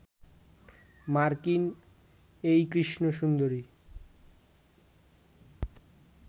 মার্কিন এই কৃষ্ণ সুন্দরী